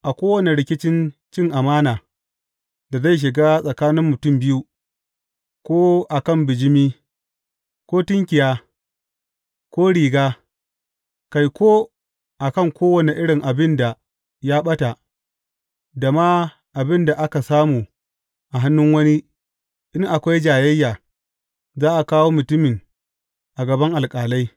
A kowane rikicin cin amana da zai shiga tsakanin mutum biyu, ko a kan bijimi, ko jaki, ko tunkiya, ko riga, kai, ko a kan kowane irin abin da ya ɓata, da ma abin da aka samu a hannun wani, in akwai jayayya, za a kawo mutumin a gaban alƙalai.